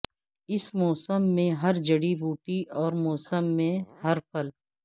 اس موسم میں ہر جڑی بوٹی اور موسم میں ہر پھل